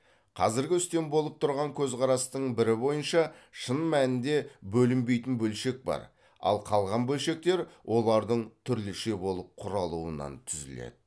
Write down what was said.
қазіргі үстем болып тұрған көзқарастың бірі бойынша шын мәнінде бөлінбейтін бөлшек бар ал қалған бөлшектер олардың түрліше болып құралуынан түзіледі